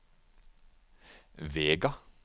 Vega